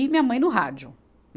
E minha mãe no rádio.